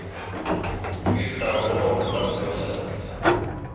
Bildskärmen är dock den bästa jag sett.